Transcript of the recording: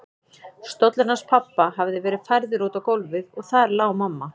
Stóllinn hans pabba hafði verið færður út á gólfið og þar lá mamma.